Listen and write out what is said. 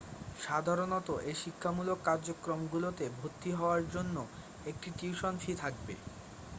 সাধারণত এই শিক্ষামূলক কার্যক্রমগুলোতে ভর্তি হওয়ার জন্য একটি টিউশন ফি থাকবে